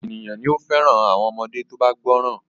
Ọ̀pọ̀ ènìyàn ni ó fẹ́ràn àwọn ọmọdé tó bá gbọ́ràn.